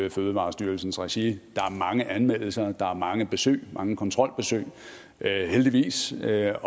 i fødevarestyrelsens regi der er mange anmeldelser der er mange besøg mange kontrolbesøg heldigvis det er